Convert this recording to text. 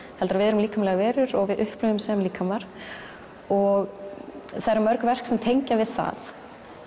heldur að við erum líkamlegar verur og við upplifum sem líkamar og það eru mörg verk sem tengja við það